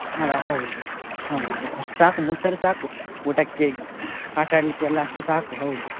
ಅಲ್ಲ ಹೌದು, ಹೌದು ಅಷ್ಟು ಸಾಕು ಮೂರ್ ಸಾವಿರ ಸಾಕು ಊಟಕ್ಕೆ ಆಟ ಆಡ್ಲಿಕ್ಕೆ ಎಲ್ಲ ಅಷ್ಟು ಸಾಕು ಹೌದು.